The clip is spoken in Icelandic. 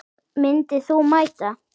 Myndir þú mæta?